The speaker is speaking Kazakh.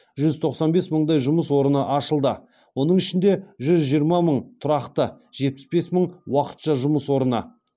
жүз тоқсан бес мыңдай жұмыс орны ашылды оның ішінде жүз жиырма мың тұрақты жетпіс бес мың уақытша жұмыс орны